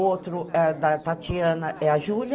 O outro, da Tatiana, é a Júlia.